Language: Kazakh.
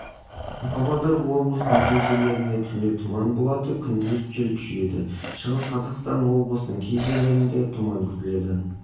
павлодар облысының кей жерлерінде түнде тұман болады күндіз жел күшейеді шығыс қазақстан облысының кей жерлерінде тұман